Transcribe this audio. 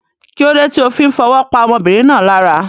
Kílódé ti o fí n fowó pa ọmọbìnrin náà lára